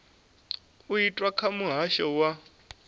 u itwa kha muhasho wa